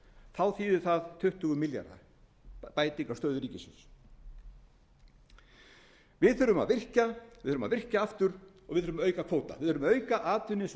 þá þýðir það tuttugu milljarða bæting á stöðu ríkissjóðs við þurfum að virkja við þurfum að virkja aftur og við þurfum að auka kvóta við þurfum að auka atvinnu eins og